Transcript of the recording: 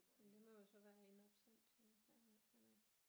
Men det må jo så være in absentia i hvert fald